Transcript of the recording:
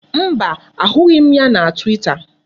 Mba, a hụghị m ya na Twita.